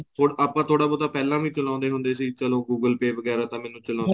ਹੁਣ ਆਪਾਂ ਥੋੜਾ ਬਹੁਤਾਂ ਪਹਿਲਾ ਵੀ ਚਲਾਉਂਦੇ ਹੁੰਦੇ ਸੀ ਚੱਲੋ google pay ਵਗੇਰਾ ਤਾਂ ਮੈਨੂੰ ਚਲਾਉਂਦੇ